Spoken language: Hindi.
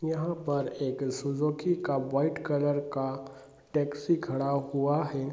यहाँ पर एक सुजुकी का वाइट कलर का टैक्सी खड़ा हुआ है |